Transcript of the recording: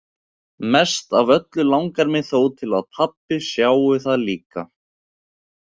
Mest af öllu langar mig þó til að pabbi sjái það líka.